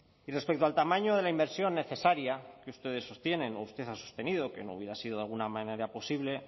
y respecto al tamaño de la inversión necesaria que ustedes sostienen o usted ha sostenido que no hubiera sido de alguna manera posible